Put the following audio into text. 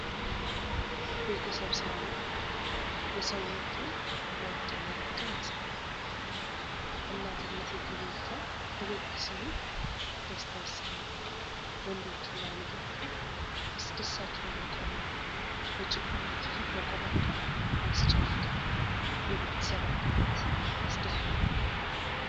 ቤተሰብ ሲያምር! የሰውዎቹ መደመር ፍቅር ያሳያል። እናትና ሴት ልጆቿ ፈገግ ሲሉ ደስታ ይሰማል። ወንዶቹና ልጆቹ አስደሳች ሆነው ቆመዋል። በጭቃ ቤት ፊት መቆማቸው አይጨንቅም። የቤተሰብ አንድነት ያስደምማል።